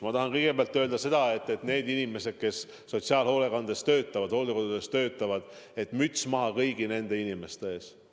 Ma tahan kõigepealt öelda seda, et need inimesed, kes sotsiaalhoolekandes töötavad, hooldekodudes töötavad – müts maha kõigi nende inimeste ees!